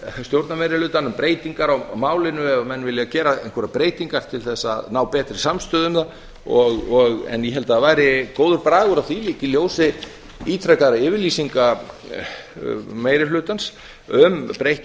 stjórnarmeirihlutann um breytingar á málinu ef menn vilja gera einhverjar breytingar til þess að ná betri samstöðu um það en ég held að það væri góður bragur á því líka í ljósi ítrekaðra yfirlýsinga meiri hlutans um breytt